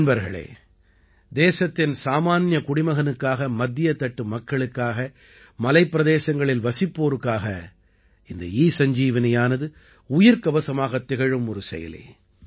நண்பர்களே தேசத்தின் சாமான்ய குடிமகனுக்காக மத்தியத் தட்டு மக்களுக்காக மலைப்பிரதேசங்களில் வசிப்போருக்காக இந்த ஈசஞ்சீவனியானது உயிர்க்கவசமாகத் திகழும் ஒரு செயலி